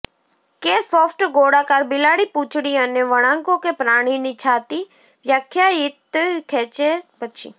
કે સોફ્ટ ગોળાકાર બિલાડી પૂંછડી અને વણાંકો કે પ્રાણીની છાતી વ્યાખ્યાયિત ખેંચે પછી